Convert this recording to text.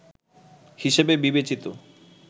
হিসেবে বিবেচিত